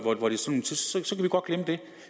glemme det